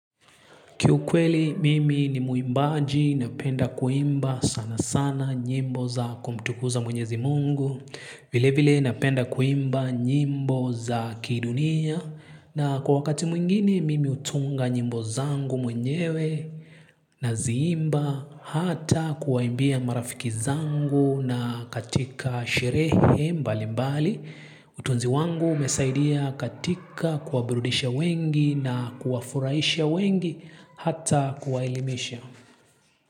Kiukweli mimi ni mwimbaji, napenda kuimba sana sana nyimbo za kumtukuza mwenyezi mungu. Vile vile napenda kuimba nyimbo za kidunia. Na kwa wakati mwingine mimi hutunga nyimbo zangu mwenyewe naziimba hata kuwaimbia marafiki zangu na katika sherehe mbali mbali. Utunzi wangu umesaidia katika kuwaburudisha wengi na kuwafurahisha wengi hata kuwaelimisha.